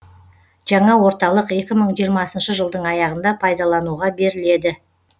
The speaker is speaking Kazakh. жаңа орталық екі мың жиырмасыншы жылдың аяғында пайдалануға беріледі